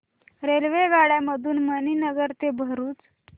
रेल्वेगाड्यां मधून मणीनगर ते भरुच